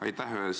Aitäh!